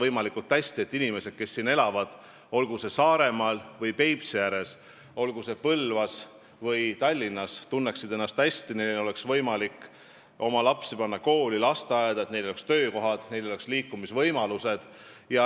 Eesmärk on, et inimesed, kes siin elavad, olgu Saaremaal või Peipsi ääres, olgu Põlvas või Tallinnas, tunneksid ennast hästi, et neil oleks võimalik panna oma lapsi kooli ja lasteaeda, et neil oleks töökohad ja liikumisvõimalused.